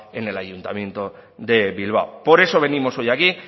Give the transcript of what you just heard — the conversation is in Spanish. en el ayuntamiento de bilbao por eso venimos hoy aquí